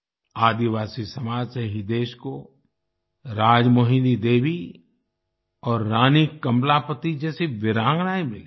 आदिवासी समाज से ही देश को राजमोहिनी देवी और रानी कमलापति जैसी वीरांगनाएं मिलीं